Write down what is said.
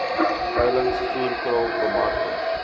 veilings voerkraal bemarking